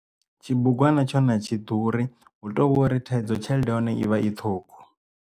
Tshibugwana tsho na atshi ḓuri hu tovhori thaidzo tshelede ya hone ivha i ṱhungu.